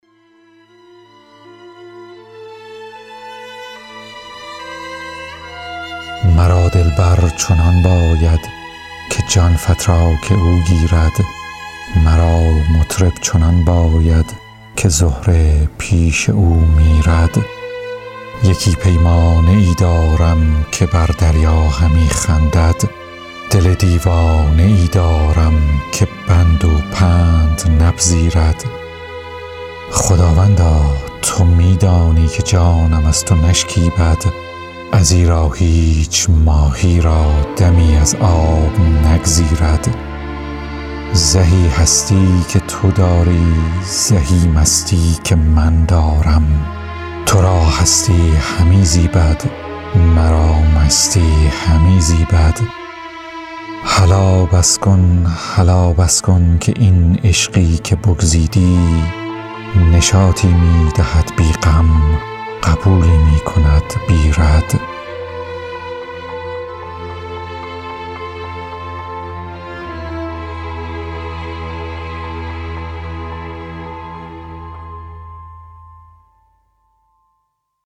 مرا دلبر چنان باید که جان فتراک او گیرد مرا مطرب چنان باید که زهره پیش او میرد یکی پیمانه ای دارم که بر دریا همی خندد دل دیوانه ای دارم که بند و پند نپذیرد خداوندا تو می دانی که جانم از تو نشکیبد ازیرا هیچ ماهی را دمی از آب نگزیرد زهی هستی که تو داری زهی مستی که من دارم تو را هستی همی زیبد مرا مستی همی زیبد هلا بس کن هلا بس کن که این عشقی که بگزیدی نشاطی می دهد بی غم قبولی می کند بی رد